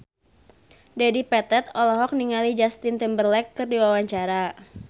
Dedi Petet olohok ningali Justin Timberlake keur diwawancara